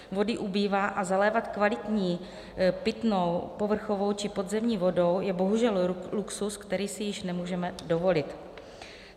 Vody ubývá a zalévat kvalitní pitnou povrchovou či podzemní vodou je bohužel luxus, který si již nemůžeme dovolit.